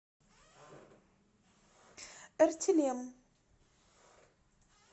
эртилем